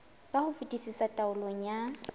ka ho fetisisa taolong ya